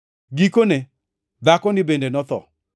Gikone, dhakoni bende notho.